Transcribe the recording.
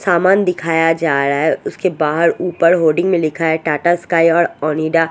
सामान दिखाया जा रहा है उसके बाहर ऊपर ओ_डी में लिखा है टाटा स्काय और ओनिडा और--